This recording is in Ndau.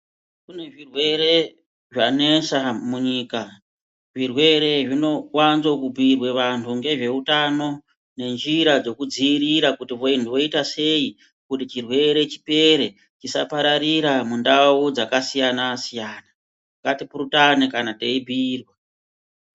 Kune zvirwere zvanesa munyika zvirwere zvinowanzokubhuirwa vanthu ngezveutano ngenjira dzekudziirira kuti vanthu voite sei kuti chirwere chipere chisapararira mundau dzakasiyana siyana ngatipurutane kana teibhuirwa.